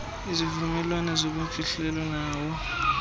kwizivumelwano zobumfihlelo nawo